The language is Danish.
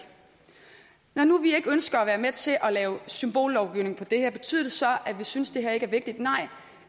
når nu vi ikke ønsker at være med til at lave symbollovgivning på det her betyder det så at vi synes at det her ikke er vigtigt nej